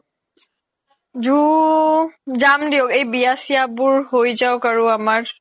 zoo যাম দিওক এই বিয়া চিয়া বোৰ হৈ যাওক আৰু আমাৰ